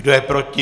Kdo je proti?